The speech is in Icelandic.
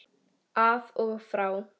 Af og frá!